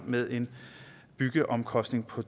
med en byggeomkostning på